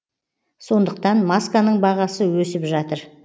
сондықтан масканың бағасы өсіп жатыр